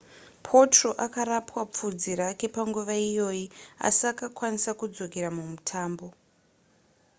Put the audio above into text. potro akarapwa pfudzi rake panguva iyoyi asi akakwanisa kudzokera mumutambo